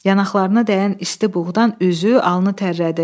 Yanaqlarına dəyən isti buğdan üzü, alnı tərlədi.